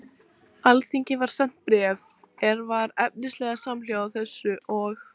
Alþingi var sent bréf, er var efnislega samhljóða þessu, og